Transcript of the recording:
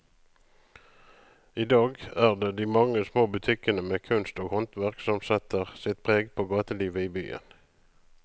I dag er det de mange små butikkene med kunst og håndverk som setter sitt preg på gatelivet i byen.